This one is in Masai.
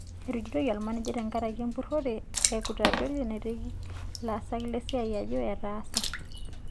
Etujutoki olmanejai tenkaraki empurore e kutapeli naiteki laasak lesiai ajo etaasa.